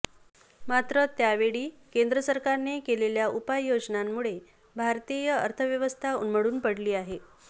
मात्र त्यावेळी केंद्र सरकारने केलेल्या उपाययोजनांमुळे भारतीय अर्थव्यवस्था उन्मळून पडली आहे